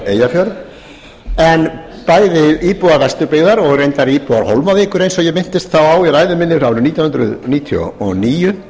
eyjafjörð en bæði íbúar vesturbyggðar og reyndar íbúar hólmavíkur eins og ég minntist þá á í ræðu minni árið nítján hundruð níutíu og níu